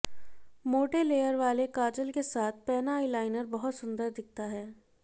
मोटे लेयर वाले काजल के साथ पैना आईलाइनर बहुत सुंदर दिखता है